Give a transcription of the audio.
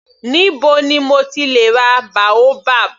Níbo ni mo ti lè ra boabab.